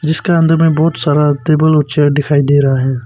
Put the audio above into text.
इसके अंदर में बहुत सारा टेबल और चेयर दिखाई दे रहा है।